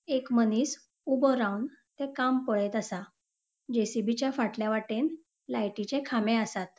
एक मनिस ऊबो रावन ते काम पळेत असा. जे.सी.बी. च्या फाटल्या वाटेन लायटीचे खामे आसात.